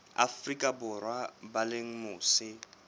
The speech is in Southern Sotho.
afrika borwa ba leng mose